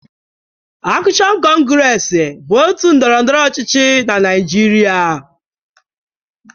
Akshon kọngres bụ otu ndọrọndọrọ ọchịchị na Naịjịrịa.